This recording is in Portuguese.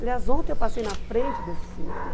Aliás, ontem eu passei na frente desse cinema.